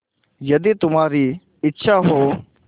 यदि तुम्हारी इच्छा हो